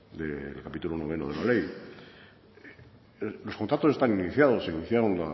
del capítulo noveno de la ley los contactos están iniciados se iniciaron